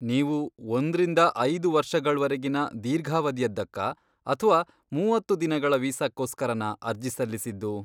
ನೀವು ಒಂದ್ರಿಂದ ಐದು ವರ್ಷಗಳ್ವರೆಗಿನ ದೀರ್ಘಾವಧಿಯದ್ದಕ್ಕಾ ಅಥ್ವಾ ಮೂವತ್ತು ದಿನಗಳ ವೀಸಾಕ್ಕೋಸ್ಕರನ ಅರ್ಜಿ ಸಲ್ಲಿಸಿದ್ದು?